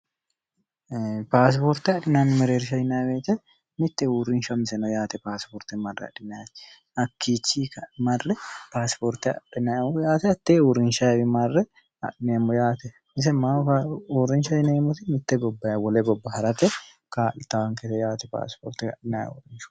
paasipoorte adhinanni mereerisha yineweete mitte uurrinsha amseno yaate paasiporte marre adhinati hakkichi marre paasipoorte aiemmoo yaate atte uurinsha ei marre ainiemmo yaate yise maahu uurrinsha inemoti mitte gobbay wole gobba ha'rate kaa'li taankete yaate paasipoorte adinaye worincho